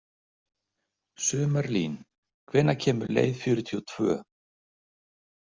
Sumarlín, hvenær kemur leið fjörutíu og tvö?